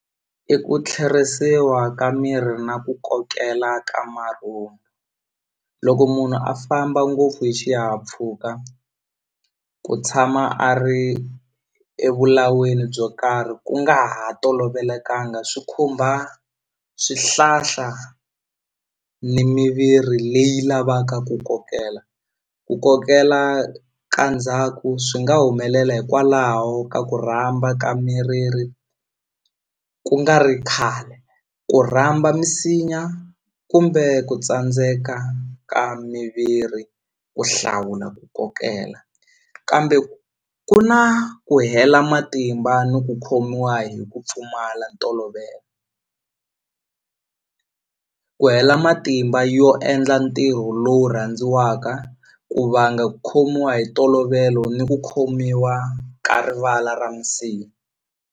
I ku tlherisiwa ka miri na ku kokela ka loko munhu a famba ngopfu hi xihahampfhuka ku tshama a ri evulaweni byo karhi ku nga ha tolovelekanga swi khumba swihlahla ni miviri leyi lavaka ku kokela ku kokela ka ndzhaku swi nga humelela hikwalaho ka ku rhamba ka miriri ku nga ri khale ku rhamba misinya kumbe ku tsandzeka ka miviri ku hlawula ku kokela kambe ku na ku hela matimba ni ku khomiwa hi ku pfumala ntolovelo ku hela matimba yo endla ntirho lowu rhandziwaka ku vanga khomiwa hi ntolovelo ni ku khomiwa ka rivala ra masiku.